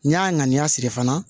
N'i y'a ŋaniya siri fana